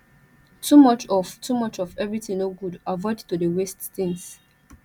too much of too much of everything no good avoid to de waste things